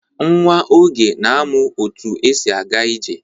Nwa Oge na-amụ otu esi aga ije.